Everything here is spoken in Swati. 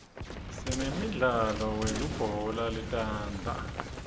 sinemdlalo weubhola letandla